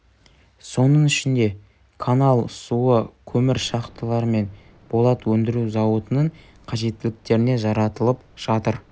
соның ішінде канал суы көмір шахталары мен болат өндіру зауытының қажеттіліктеріне жаратылып жатыр